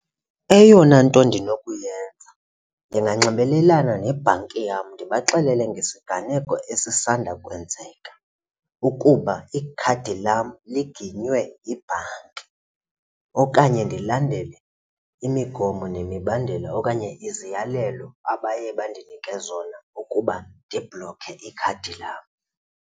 Eyona nto ndinokuyenza ndinganxibelelana nebhanki yam ndibaxelele ngesiganeko esisanda kwenzeka ukuba ikhadi lam liginywe yibhanki okanye ndilandele imigomo nemibandela okanye iziyalelo abaye bandinike zona ukuba ndibhloke ikhadi lam.